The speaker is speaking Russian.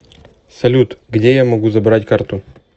салют где я могу забрать карту